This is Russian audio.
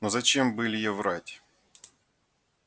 но зачем бы илье врать